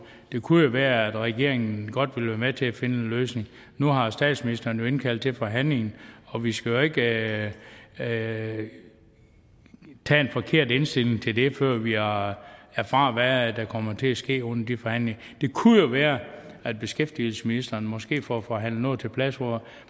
det kunne jo være at regeringen godt vil være med til at finde en løsning nu har statsministeren jo indkaldt til forhandlinger og vi skal jo ikke have en forkert indstilling til det før vi har erfaret hvad der kommer til at ske under de forhandlinger det kunne jo være at beskæftigelsesministeren måske får forhandlet noget